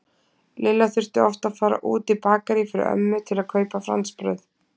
Lilla þurfti oft að fara út í Bakarí fyrir ömmu til að kaupa franskbrauð.